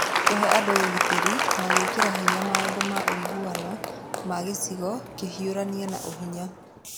Kũhe andũ ũgitĩri na gwĩkĩra hinya maũndũ ma ũiguano ma gĩcigo kũhiũrania na ũhinya